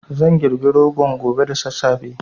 Zan girbi rogon gobe da sassafe